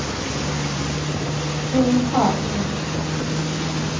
Bo Hagman